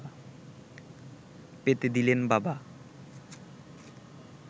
পেতে দিলেন বাবা